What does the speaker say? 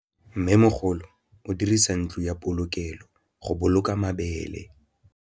Mmêmogolô o dirisa ntlo ya polokêlô, go boloka mabele.